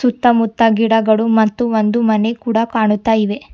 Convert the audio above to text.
ಸುತ್ತ ಮುತ್ತ ಗಿಡಗಳು ಮತ್ತು ಒಂದು ಮನೆ ಕೂಡ ಕಾಣುತ್ತಾ ಇದೆ.